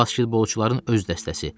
Basketbolçuların öz dəstəsi.